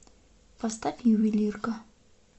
поставь ювелирка